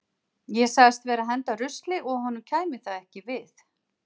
Ég sagðist vera að henda rusli og að honum kæmi það ekki við.